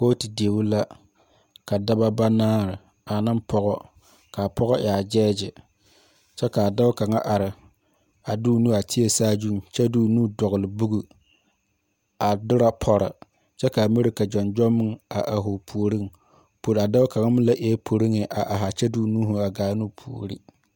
Koɔti deɛ la ka dɔba banaare ane pɔga kaa poɔ e a judge kye ka a doɔ kanga arẽ a de ɔ nu a teɛ saazun kye de ɔ nu dɔgli book a dire pori kye ka a miri jonjom meng a arẽ ɔ pouring a doɔ kanga ming le eei police a arẽ kye de ɔ nuuri a gaani ɔ poɔri.